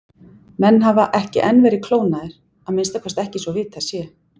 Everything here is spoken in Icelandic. Menn hafa ekki enn verið klónaðir, að minnsta kosti ekki svo vitað sé.